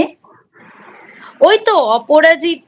ওই তো অপরাজিতা